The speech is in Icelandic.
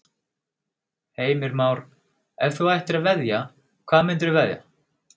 Heimir Már: Ef þú ættir að veðja, hvað myndirðu veðja?